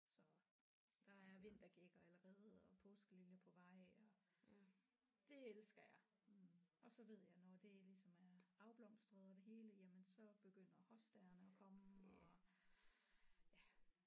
Så der er vintergækker allerede og påskeliljer på vej og det elsker jeg og så ved jeg når det ligesom er afblomstret og det hele jamen så begynder hostaerne at komme og ja